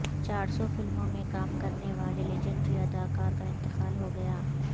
چارسو فلموں میں کام کرنے والے لیجنڈری اداکار کا انتقال ہو گیا